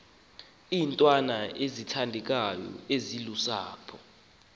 iintwana ezithandekayo ezilusapho